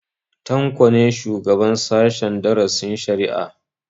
Tanko ne shugaban sahen darasin shari'a